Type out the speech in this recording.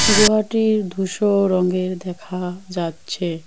গুহাটি ধূসর রঙের দেখা যাচ্ছে।